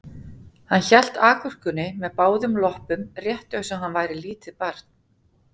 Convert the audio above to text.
Hann hélt agúrkunni með báðum loppum rétt eins og hann væri lítið barn